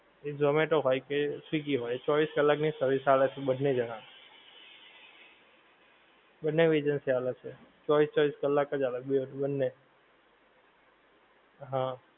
એ ઝોમેટો હોય કે સ્વીગી હોય ચોવીસ કલાક ની service આલે છે બંને જણા. બંનેવ agency આલે છે, ચોવીસ ચોવીસ કલાક જ આલે છે બેવ બંને. હા.